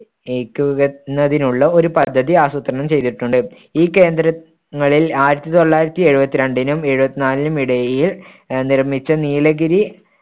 ന്നതിനുള്ള ഒരു പദ്ധതി ആസൂത്രണം ചെയ്തിട്ടുണ്ട്. ഈ കേന്ദ്ര~ങ്ങളിൽ ആയിരത്തി തൊള്ളായിരത്തി എഴുപത്തിരണ്ടിനും എഴുപത്നാലിനും ഇടയിൽ അഹ് നിർമ്മിച്ച നീലഗിരി